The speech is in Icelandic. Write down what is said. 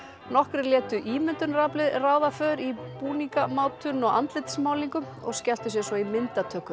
nokkrir létu ímyndunaraflið ráða för í búningamátun og andlitsmálningu og skelltu sér svo í myndatöku